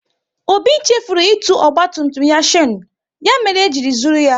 Obi chefuru itu ọgba tum tum ya shanu, ya mere eji zụrụ ya